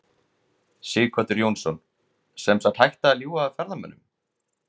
Sighvatur Jónsson: Sem sagt hætta að ljúga að ferðamönnum?